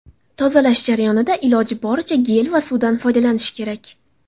Tozalash jarayonida iloji boricha, gel va suvdan foydalanish kerak.